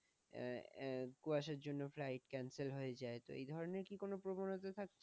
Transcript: আহ কুয়াশার জন্য flight cancel হয়ে যায়, তো এই ধরনের কি কোন প্রবনতা থাকে?